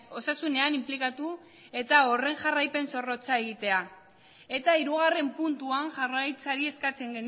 osasunean inplikatu eta horren jarraipen zorrotza egitea eta hirugarren puntuan jaurlaritzari eskatzen